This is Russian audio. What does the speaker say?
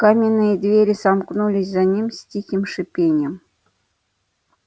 каменные двери сомкнулись за ними с тихим шипением